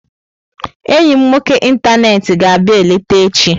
Enyi m nwoke ịntanetị ga abịa-eleta echi.